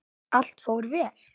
Allt fór vel.